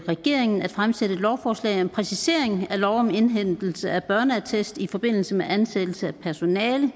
regeringen at fremsætte et lovforslag om præcisering af lov om indhentelse af børneattest i forbindelse med ansættelse af personale